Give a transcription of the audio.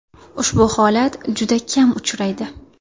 Ushbu holat juda kam uchraydi”.